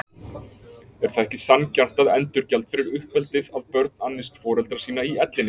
Er það ekki sanngjarnt endurgjald fyrir uppeldið að börn annist foreldra sína í ellinni?